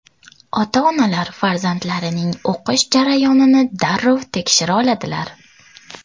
Ota-onalar farzandlarining o‘qish jarayonini darrov tekshira oladilar.